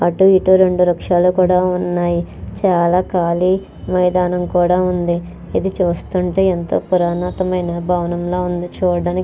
అటు ఇటు రెండు వృక్షలు కూడా ఉన్నాయి చాలా ఖాళీ మైదానం కూడా ఉంది ఇది చూస్తుంటే ఎంతో పురానతమైన భవనంల ఉంది చూడడానికి.